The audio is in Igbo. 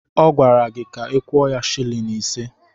Ọ gwara ka ị kwuo ya silin ise.